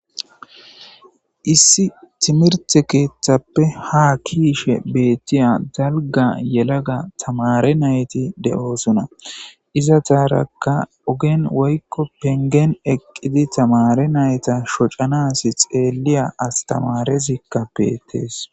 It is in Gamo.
Issi timirthe keeththappe ha kiishe beettiya dalga yelaga tamare nayti de7oosuna iza taarakka ogen woykko pengen eqqidi tamare nayta shocanas xeeliya astamarezikka beettees